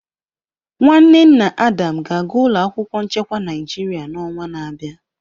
Nwanne nna Adam ga-aga ụlọ akwụkwọ nchekwa Naịjirịa n'ọnwa na-abịa.